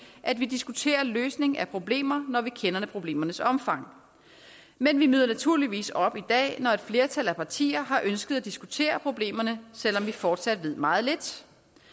at vi diskuterer løsning af problemer når vi kender problemernes omfang men vi møder naturligvis op her i dag når et flertal af partier har ønsket at diskutere problemerne selv om man fortsat ved meget lidt